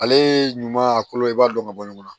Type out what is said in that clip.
Ale ɲuman kolo i b'a dɔn ka bɔ ɲɔgɔn na